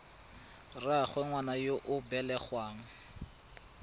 rraagwe ngwana yo o belegweng